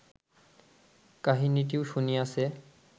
কাহিনীটিও শুনিয়াছে